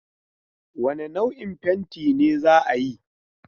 Wane nau'in fenti ne za ayi?